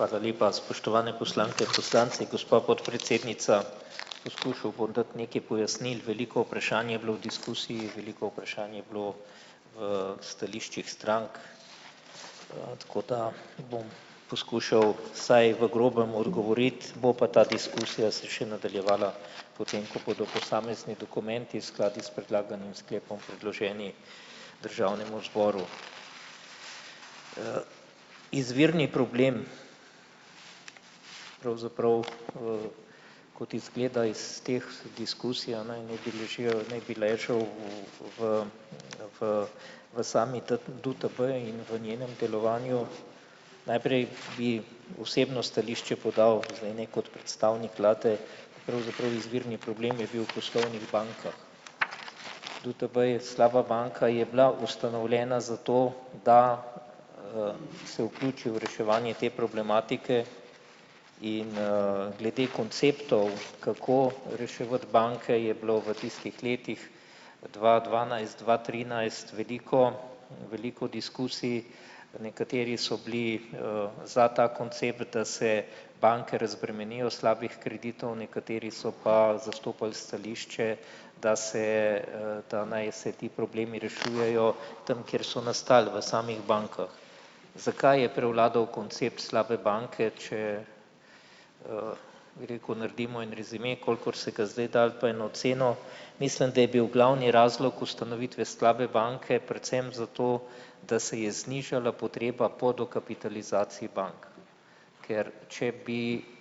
Hvala lepa, spoštovane poslanke, poslanci, gospa podpredsednica. Poskušal bom dati nekaj pojasnil. Veliko vprašanj je bilo v diskusiji, veliko vprašanj je bilo v stališčih strank, tako da bom poskušal vsaj v grobem odgovoriti, bo pa ta diskusija se še nadaljevala potem, ko bodo posamezni dokumenti skladni s predlaganim sklepom predloženi državnemu zboru. Izvirni problem pravzaprav, kot izgleda iz teh diskusij v v v sami DUTB in v njenem delovanju. Najprej bi osebno stališče podal zdaj ne kot predstavnik vlade, pravzaprav izvirni problem je bil v poslovnih bankah. DUTB je slaba banka je bila ustanovljena zato, da, se vpiči v reševanje te problematike. In, glede konceptov, kako reševati banke je bilo v tistih letih dva dvanajst-dva trinajst veliko veliko diskusij, nekateri so bili, za ta koncept, da se banke razbremenijo slabih kreditov, nekateri so pa zastopali stališče, da se, da naj se ti problemi rešujejo tam, kjer so nastali v samih bankah. Zakaj je prevladal koncept slabe banke, če, bi rekel, naredimo en rezime, kolikor se ga zdaj, dal pa eno ceno. Mislim, da je bil glavni razlog ustanovitve slabe banke predvsem zato, da se je znižala potreba po dokapitalizaciji bank, ker če bi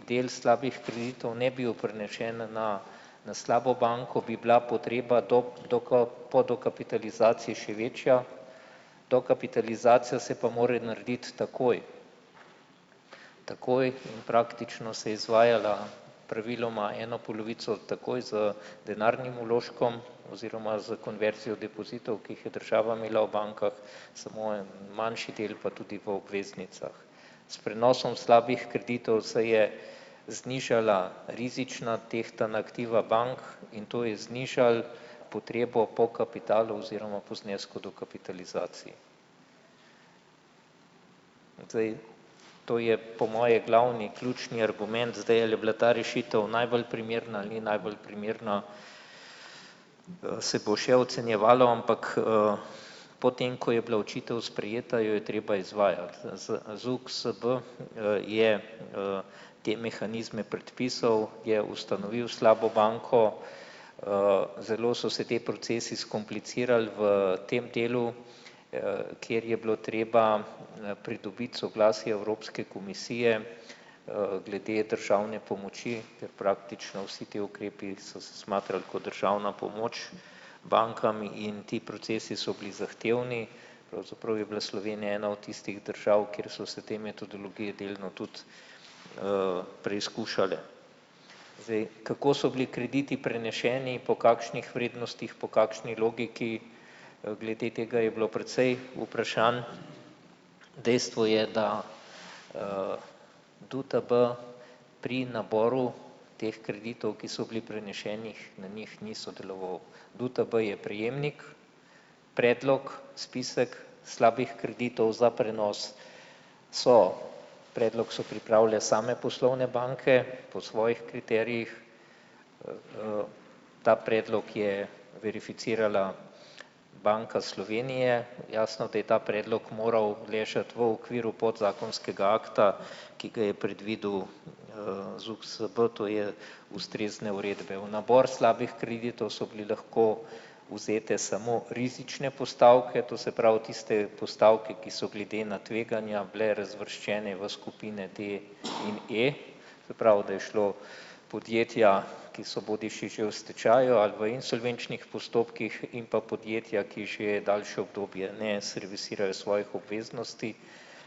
del slabih kreditov ne bil prenesen na na slabo banko, bi bila do po dokapitalizaciji še večja. Dokapitalizacija se pa mora narediti takoj. Takoj in praktično se je izvajala, praviloma eno polovico takoj z denarnim vložkom oziroma z konverzijo depozitov, ki jih je država imela v bankah, samo en manjši del pa tudi v obveznicah. S prenosom slabih kreditov se je znižala rizična tehtana aktiva bank in to je znižalo potrebo po kapitalu oziroma po znesku dokapitalizacije. Zdaj, to je po moje glavni ključni argument, zdaj, ali je bila ta rešitev najbolj primerna ali ni najbolj primerna, se bo še ocenjevalo, ampak, potem, ko je bila odločitev sprejeta, jo je treba izvajati ZUKSB, je, te mehanizme predpisal, je ustanovil slabo banko, zelo so se ti procesi skomplicirali v tem delu, kjer je bilo treba, pridobiti soglasje Evropske komisije, glede državne pomoči, ker praktično vsi ti ukrepi so se smatrali kot državna pomoč bankam in ti procesi so bili zahtevni, pravzaprav je bila Slovenija ena od tistih držav, kjer so se te metodologije delno tudi, preizkušale. Zdaj, kako so bili krediti preneseni, po kakšnih vrednostih, po kakšni logiki, glede tega je bilo precej vprašanj. Dejstvo je, da, DUTB pri naboru teh kreditov, ki so bili preneseni na njih, ni sodeloval. DUTB je prejemnik, predlog, spisek slabih kreditov za prenos so predlog so pripravile same poslovne banke po svojih kriterijih, ta predlog je verificirala Banka Slovenije. Jasno, da je ta predlog moral ležati v okviru podzakonskega akta, ki ga je predvidel, ZUKSB, to je ustrezne uredbe, v nabor slabih kreditov so bile lahko vzete samo rizične postavke, to se pravi tiste postavke, ki so glede na tveganja bile razvrščene v skupine D in E, se pravi, da je šlo podjetja, ki so bodisi že v stečaju ali v insolvenčnih postopkih, in pa podjetja, ki že daljše obdobje ne servisirajo svojih obveznosti,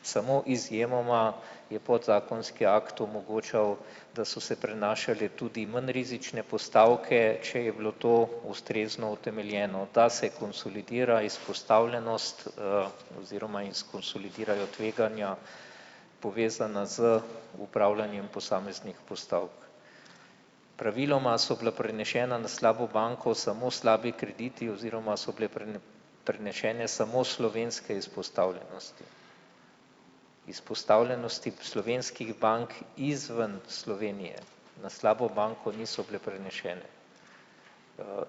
samo izjemoma je podzakonski akt omogočal, da so se prenašale tudi manj rizične postavke, če je bilo to ustrezno utemeljeno, ta se konsolidira izpostavljenost, oziroma in skonsolidirajo tveganja, povezana z upravljanjem posameznih postavk. Praviloma so bila preneseni na slabo banko samo krediti oziroma so bile prenesene samo slovenske izpostavljenosti. Izpostavljenosti slovenskih bank izven Slovenije na slabo banko niso bile prenesene.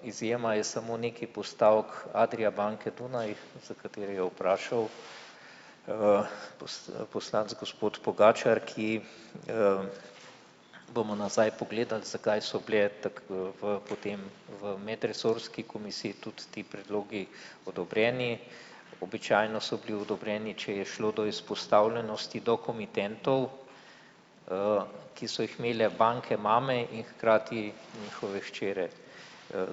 Izjema je samo nekaj postavk Adria banke Dunaj, za katere je vprašal v poslanec gospod Pogačar, ki, bomo nazaj pogledali, zakaj so bili tako v potem v medresorski komisiji tudi ti predlogi odobreni. Običajno so bili odobreni, če je šlo do izpostavljenosti do komitentov, ki so jih imele banke mame in hkrati njihove hčere,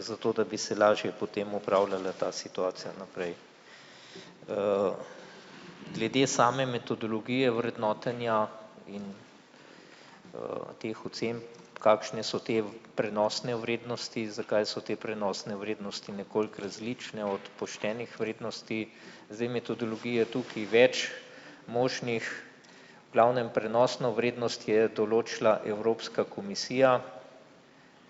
zato, da bi se lažje potem upravljala ta situacija naprej. Glede same metodologije vrednotenja in, teh ocen, kakšne so te v prenosne vrednosti, zakaj so te prenosne vrednosti nekoliko različne od poštenih vrednosti. Zdaj, metodologije je tukaj več možnih, glavnem prenosno vrednost je določila Evropska komisija,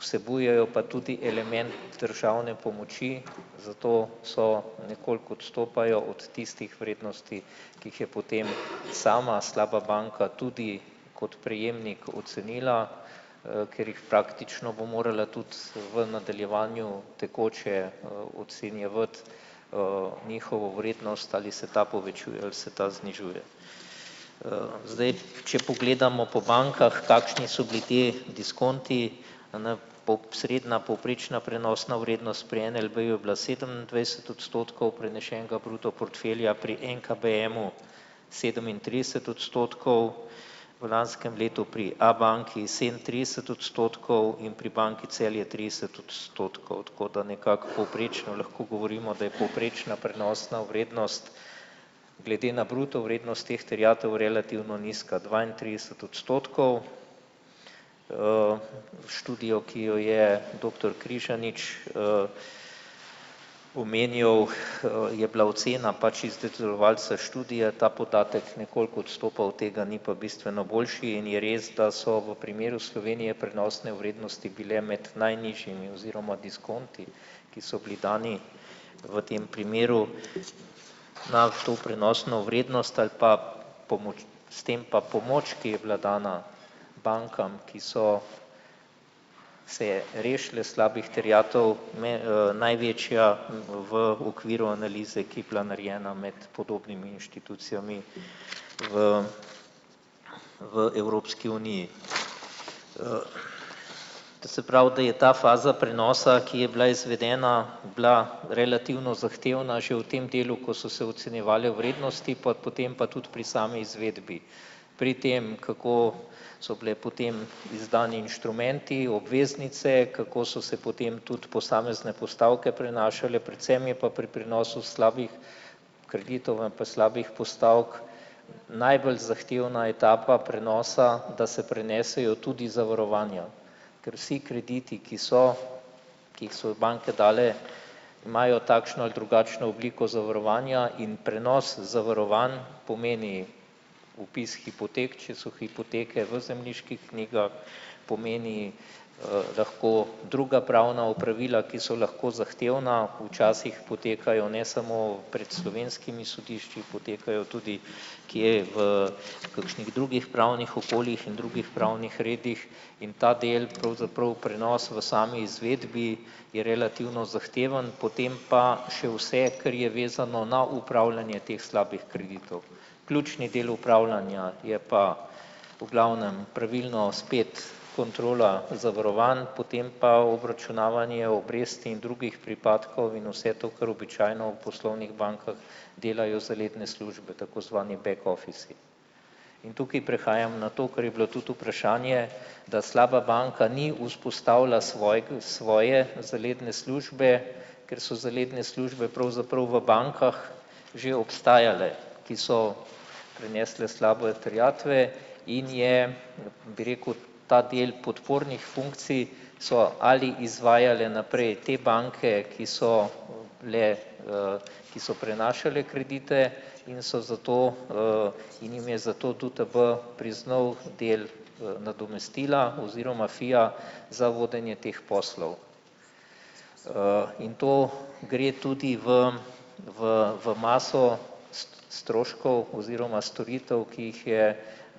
vsebujejo pa tudi element državne pomoči, zato so nekoliko odstopajo od tistih vrednosti, ki jih je potem sama slaba banka tudi kot prejemnik ocenila, ker jih praktično bo morala tudi v nadaljevanju tekoče, ocenjevati, njihovo vrednost, ali se ta povečuje ali se ta znižuje. Zdaj, če pogledamo po bankah, kakšni so bili ti diskonti. posredna povprečna prenosna vrednost pri NLB-ju sedemindvajset odstotkov prenešenega bruto portfelja pri NKBM-u sedemintrideset odstotkov, v lanskem letu pri Abanki sedemintrideset odstotkov in pri Banki Celje trideset odstotkov, tako da nekako povprečno lahko govorimo, da je povprečna prenosna vrednost glede na bruto vrednost teh terjatev relativno nizka, dvaintrideset odstotkov. V študijo, ki jo je doktor Križanič, omenjal, je bila ocena pač izdelovalcev študije, ta podatek nekoliko odstopa od tega, ni pa bistveno boljši, in je res, da so v primeru Slovenije prenosne vrednosti bile med najnižjimi oziroma diskonti, ki so bili dani v tem primeru na to prenosno vrednost, ali pa pomoč s tem pa pomoč, ki je bila dana bankam, ki so se rešile slabih terjatev največja v okviru analize, ki bila narejena med podobnimi inštitucijami v v Evropski uniji. To se pravi, da je ta faza prenosa, ki je bila izvedena, bila relativno zahtevna že v tem delu, ko so se ocenjevale vrednosti, pa potem pa tudi pri sami izvedbi. Pri tem, kako so bili potem izdani inštrumenti, obveznice, kako so se potem tudi posamezne postavke prenašale, predvsem je pa pri prenosu slabih kreditov ali pa slabih postavk najbolj zahtevna etapa prenosa, da se prenesejo tudi zavarovanja, ker vsi kredite, ki so ki jih so banke dale, imajo takšno ali drugačno obliko zavarovanja in prenos zavarovanj pomeni vpis hipotek, če so hipoteke v zemljiških knjigah, pomeni, lahko druga pravna opravila, ki so lahko zahtevna, včasih potekajo ne samo pred slovenskimi sodišči, potekajo tudi kje v kakšnih drugih pravnih okoljih in drugih pravnih redih, in ta del pravzaprav prenos v sami izvedbi je relativno zahteven potem pa še vse, kar je vezano na upravljanje teh slabih kreditov. Ključni del upravljanja je pa v glavnem pravilno spet kontrola zavarovanj potem pa obračunavanje obresti in drugih pripadkov in vse to, kar običajno v poslovnih bankah delajo zaledne službe, tako zvani back offici. In tukaj prehajam na to, kar je bilo tudi vprašanje, da slaba banka ni vzpostavila svoje zaledne službe, ker so zaledne službe pravzaprav v bankah že obstajale, ki so prenesle slabe terjatve, in je, bi rekel, ta del podpornih funkcij so ali izvajale naprej te banke, ki so bile, ki so prenašale kredite in so zato, in jim je zato DUTB priznal del, nadomestila oziroma, ja, za vodenje teh poslov. In to gre tudi v v v maso stroškov oziroma storitev, ki jih je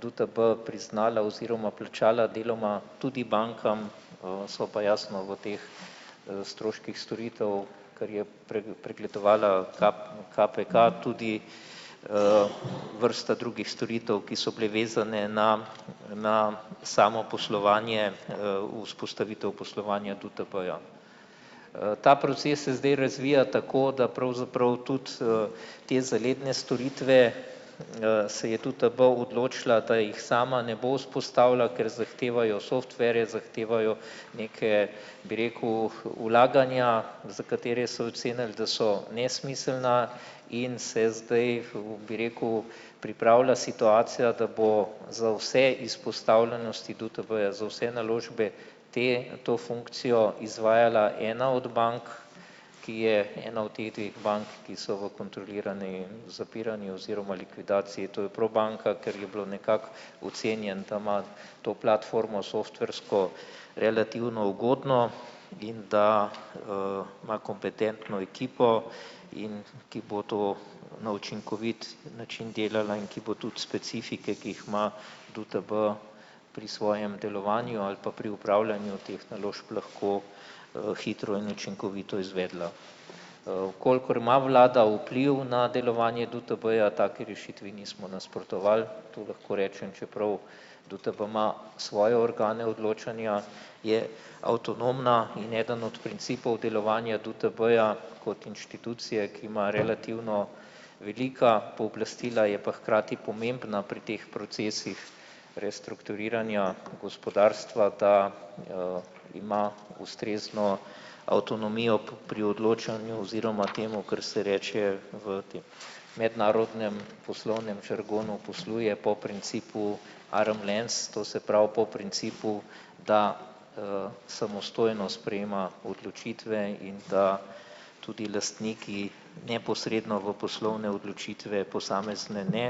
DUTB priznala oziroma plačala deloma tudi bankam, so pa jasno v teh, stroških storitev, kar je pregledovala KPK tudi, vrsta drugih storitev, ki so bile vezane na na samo poslovanje, vzpostavitev poslovanja DUTB-ja. Ta proces se zdaj razvija tako, da pravzaprav tudi, te zaledne storitve, se je DUTB odločila, da jih sama ne bo vzpostavila, ker zahtevajo softverje, zahtevajo neke, bi rekel, vlaganja, za katera so ocenili, da so nesmiselna, in se zdaj, kako bi rekel, pripravlja situacija, da bo za vse izpostavljenosti DUTB-ja za vse naložbe te to funkcijo izvajala ena od bank, ki je ena od teh dveh bank, ki so v kontroliranem zapiranju oziroma likvidaciji, to je Probanka, ker je bilo nekako ocenjeno, da ima to platformo softversko relativno ugodno in da, ima kompetentno ekipo, in ki bo to na učinkovit način delala in ki bo tudi specifike, ki jih ima DUTB pri svojem delovanju ali pa pri opravljanju teh naložb lahko, hitro in učinkovito izvedla. V kolikor ima vlada vpliv na delovanje DUTB-ja, taki rešitvi nismo nasprotovali, to lahko rečem, čeprav DUTB ima svoje organe odločanja, je avtonomna in eden od principov delovanja DUTB-ja kot inštitucije, ki ima relativno velika pooblastila, je pa hkrati pomembna pri teh procesih restrukturiranja gospodarstva, da, ima ustrezno avtonomijo pri odločanju oziroma temu, kar se reče v tem mednarodnem poslovnem žargonu, posluje po principu arm's length, to se pravi po principu, da, samostojno sprejema odločitve in da tudi lastniki neposredno v poslovne odločitve posamezne ne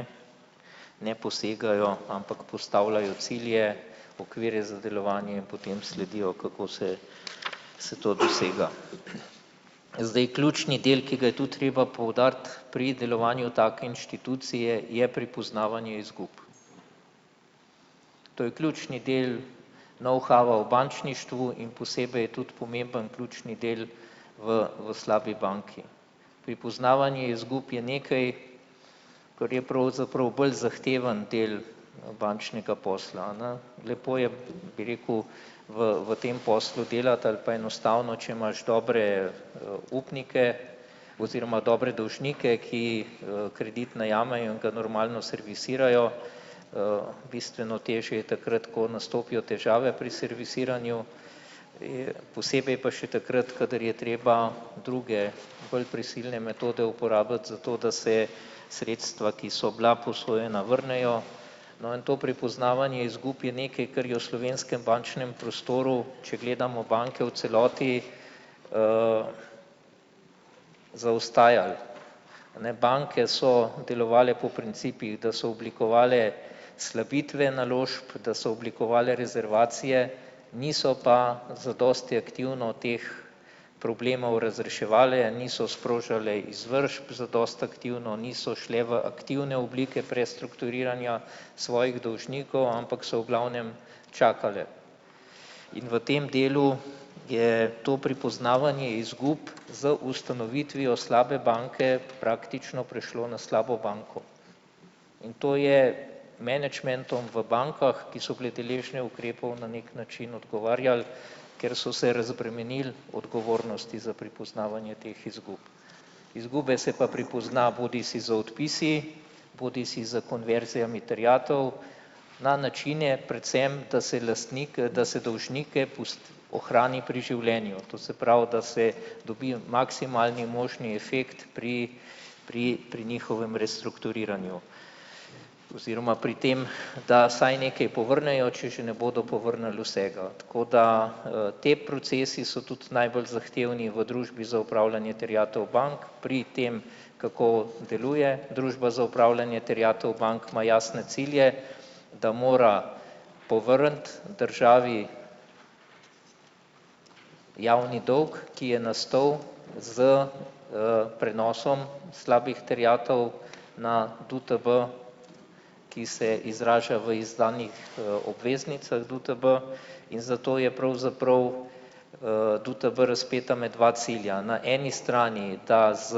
ne posegajo, ampak postavljajo cilje, okvire za delovanje in potem sledijo, kako se se to dosega. Zdaj, ključni del, ki ga je to treba poudariti pri delovanju take inštitucije, je prepoznavanje izgub. To je ključni del knowhowa v bančništvu in posebej je tudi pomemben, ključni del v v slabi banki. Pripoznavanje izgub je nekaj, kar je pravzaprav bolj zahteven del bančnega posla, a ne, lepo je, bi rekel, v v tem poslu delati ali pa enostavno, če imaš dobre, upnike oziroma dobre dolžnike, ki, kredit najamejo in ga normalno servisirajo, bistveno težje je takrat, ko nastopijo težave pri servisiranju, posebej pa še takrat, kadar je treba druge bolj prisilne metode uporabiti zato, da se sredstva, ki so bila posojena, vrnejo. No, in to prepoznavanje izgub je nekaj, kar je v slovenskem bančnem prostoru, če gledamo banke v celoti, zaostajali. Ne, banke so delovale po principih, da so oblikovale slabitve naložb, da so oblikovale rezervacije, niso pa zadosti aktivno teh problemov razreševale, niso sprožale izvršb zadosti aktivno, niso šle v aktivne oblike prestrukturiranja svojih dolžnikov, ampak so v glavnem čakale. In v tem delu je to prepoznavanje izgub z ustanovitvijo slabe banke praktično prešlo na slabo banko. In to je menedžmentom v bankah, ki so bile deležne ukrepov, na neki način odgovarjalo, ker so se razbremenili odgovornosti za prepoznavanje teh izgub. Izgube se pa prepozna bodisi z odpisi bodisi s konverzijami terjatev na načine predvsem, da se lastnik, da se dolžnike ohrani pri življenju. To se pravi, da se dobi maksimalni možni efekt pri pri pri njihovem restrukturiranju. Oziroma pri tem, da vsaj nekaj povrnejo, če že ne bodo povrnili vsega tako, da, ti procesi so tudi najbolj zahtevni v Družbi za upravljanje terjatev bank, pri tem, kako deluje Družba za upravljanje terjatev bank, ima jasne cilje, da mora povrniti državi javni dolg, ki je nastal s, prenosom slabih terjatev na DUTB, ki se izraža v izdanih, obveznicah DUTB in zato je pravzaprav, DUTB razpeta med dva cilja. Na eni strani, da s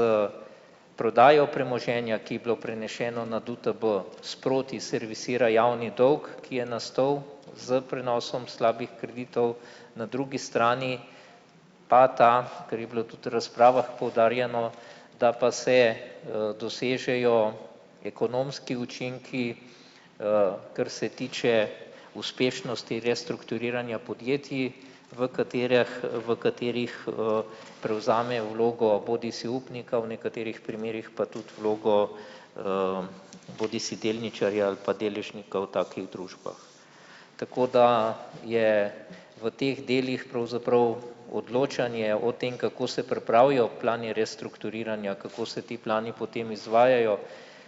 prodajo premoženja, ki je bilo preneseno na DUTB, sproti servisira javni dolg, ki je nastal s prenosom slabih kreditov, na drugi strani pa ta, kar je bilo tudi v razpravah poudarjeno, da pa se, dosežejo ekonomski učinki, kar se tiče uspešnosti restrukturiranja podjetij, v katereh v katerih, prevzame vlogo bodisi upnika, v nekaterih primerih pa tudi vlogo, bodisi delničarja ali pa deležnika v takih družbah. Tako da je v teh delih pravzaprav odločanje o tem, kako se pripravijo plani restrukturiranja, kako se ti plani potem izvajajo,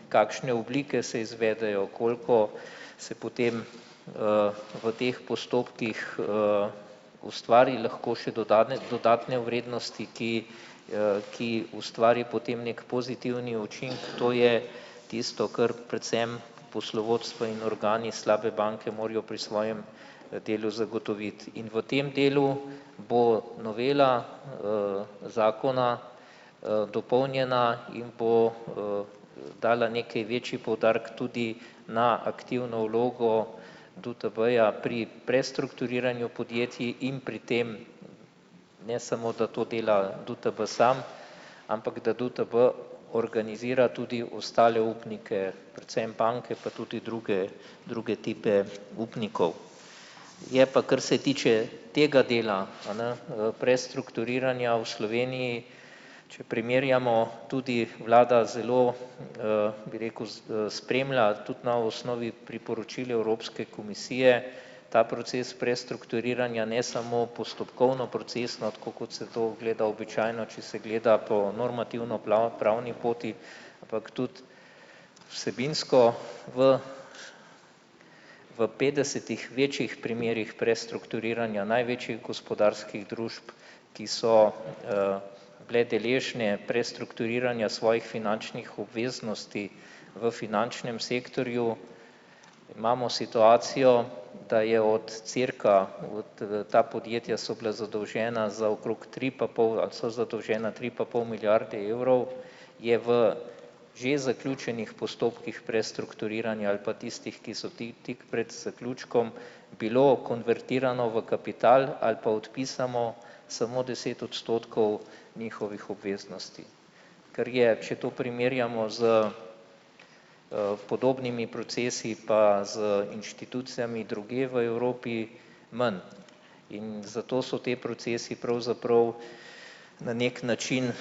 kakšne oblike se izvedejo, koliko se potem, v teh postopkih, ustvari lahko še do dodatne vrednosti, ki, ki ustvari potem neki pozitivni učinek, to je tisto, kar predvsem poslovodstvo in organi slabe banke morajo pri svojem delu zagotoviti in v tem delu bo novela, zakona, dopolnjena in bo, dala neki večji poudarek tudi na aktivno vlogo DUTB-ja pri prestrukturiranju podjetij in pri tem ne samo, da to dela DUTB sam, ampak da DUTB organizira tudi ostale upnike, predvsem banke, pa tudi druge druge tipe upnikov. Je pa, kar se tiče tega dela, a ne, prestrukturiranja v Sloveniji, če primerjamo, tudi vlada zelo, bi rekel, spremlja, tudi ima v osnovi priporočil Evropske komisije ta proces prestrukturiranja, ne samo postopkovno, procesno, tako kot se to gleda običajno, če se gleda po normativno pravni poti, ampak tudi vsebinsko. V v petdesetih večjih primerih prestrukturiranja največjih gospodarskih družb, ki so, bile deležne prestrukturiranja svojih finančnih obveznosti v finančnem sektorju. Imamo situacijo, da je od cirka ta podjetja so bila zadolžena za okrog tri pa pol ali so zadolžena tri pa pol milijarde evrov, je v že zaključenih postopkih prestrukturiranja ali pa tistih, ki so tik pred zaključkom, bilo konvertirano v kapital ali pa odpisano samo deset odstotkov njihovih obveznosti. Kar je, če to primerjamo s, podobnimi procesi pa z inštitucijami drugje v Evropi, manj in zato so ti procesi pravzaprav na neki način